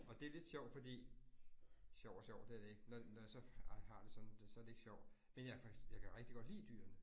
Og det lidt sjovt fordi. Sjovt og sjovt det er det ikke, når når jeg så har det sådan det, så det ikke sjovt. Men jeg kan rigtig godt lide dyrene